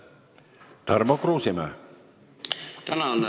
Tarmo Kruusimäe.